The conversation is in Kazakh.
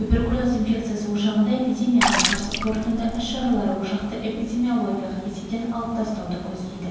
туберкулез инфекциясы ошағында эпидемияға қарсы қорытынды іс-шаралар ошақты эпидемиологиялық есептен алып тастауды көздейді